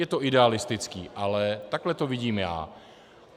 Je to idealistické, ale takhle to vidím já.